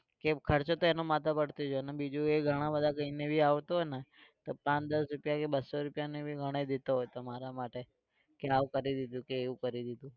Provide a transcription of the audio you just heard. કે ખર્ચો તો એનો માથે પડતો જ હોય અને બીજું એ ઘણાબધા કહીને બી આવતો હોય ને તો પાંચ-દસ રૂપિયા બસો રૂપિયાને भी ગણાઇ દેતો હતો મારા માટે. કે આવું કરી દીધું કે એવું કરી દીધું.